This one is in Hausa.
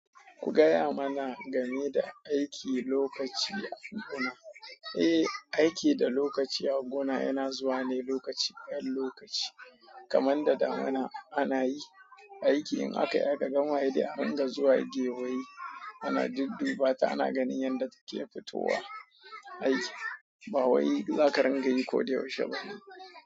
Ku gaya mana game da aiki lokaci a gona. Eh, aiki da lokaci a gona yana zuwa ne lokaci ɗan lokaci, kamar da damuna ana yi aiki in aka yi aka gama sai dai adinga zuwa gewaye ana dudduba ta ana ganin yadda take fitowa. Aiki bawwai zaka rangayi ko da yaushe bani.